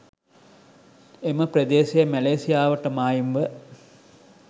එම ප්‍රදේශය මැලේසියාවට මායිම්ව